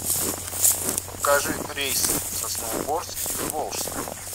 покажи рейсы в сосновоборск из волжска